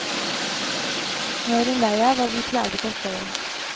Nå er hun lei av å bli plaget av støyen.